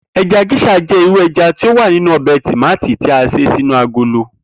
E̩ja gés̩à jé̩ irú e̩ja tí ó wà nínú o̩bè̩ tòmátì tí a s̩e sínú agolo